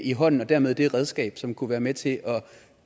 i hånden og dermed det redskab som kunne være med til